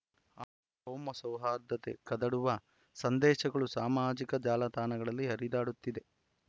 ಅ ಕೋಮಸೌಹಾರ್ದತೆ ಕದಡುವ ಸಂದೇಶಗಳು ಸಾಮಾಜಿಕ ಜಾಲತಾಣಗಳಲ್ಲಿ ಹರಿದಾಡುತ್ತಿದೆ